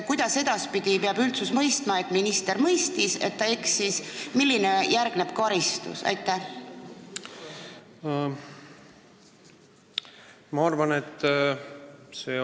Kuidas edaspidi peab üldsus aru saama, et minister mõistis, et ta eksis, ja sellele järgneb karistus?